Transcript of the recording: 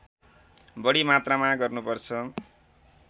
बढी मात्रामा गर्नुपर्छ